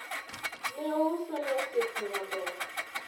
ne ousone osiepne maber